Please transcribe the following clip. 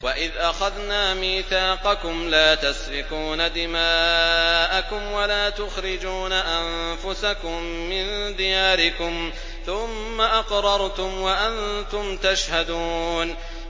وَإِذْ أَخَذْنَا مِيثَاقَكُمْ لَا تَسْفِكُونَ دِمَاءَكُمْ وَلَا تُخْرِجُونَ أَنفُسَكُم مِّن دِيَارِكُمْ ثُمَّ أَقْرَرْتُمْ وَأَنتُمْ تَشْهَدُونَ